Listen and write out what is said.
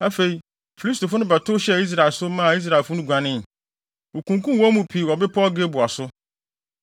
Afei, Filistifo no bɛtow hyɛɛ Israel so, maa Israelfo no guanee. Wokunkum wɔn mu pii wɔ bepɔw Gilboa so.